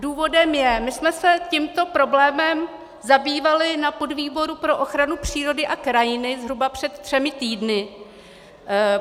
Důvodem je - my jsme se tímto problémem zabývali na podvýboru na ochranu přírody a krajiny zhruba před třemi týdny.